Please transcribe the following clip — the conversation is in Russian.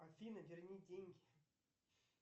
афина верни деньги